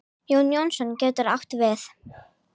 Jón Jónsson getur átt við